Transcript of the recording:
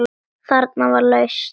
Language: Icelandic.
Þarna var lausn.